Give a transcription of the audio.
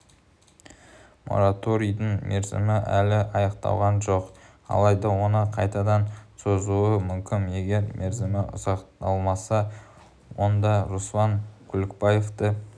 мораторийдің мерзімі әлі аяқталған жоқ алайда оны қайтадан созуы мүмкін егер мерзімі ұзартылмаса онда руслан күлікбаевты